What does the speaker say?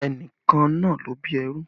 Ẹnìkan náà ló bí ẹrú